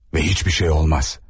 Və heç bir şey olmaz.